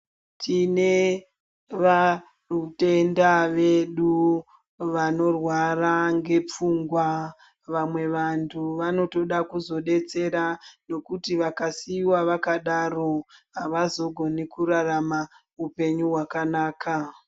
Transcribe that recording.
Tine vatenda vedu vanorwara ngepfungwa vamwe vanhu vanotoda kuzodetsera ngekuti vakasiiwa vakadaro havazogoni kurarama hupenyu hwakanaka.